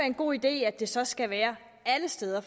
en god idé at det så skal være alle steder